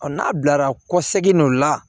n'a bilara kɔsegin dɔ la